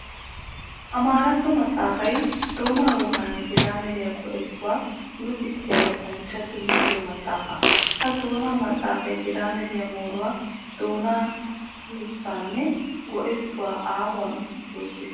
Amaaratto maxafay doona woganne giraameriya go'ettuwa luxissiya luxanchchattu luxiyo maxafa. Ha doona maxafay giraameriya mooruwa, doona yussanne go'ettuwa aahuwan yootes.